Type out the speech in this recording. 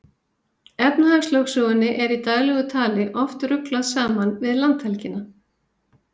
Efnahagslögsögunni er í daglegu tali oft ruglað saman við landhelgina.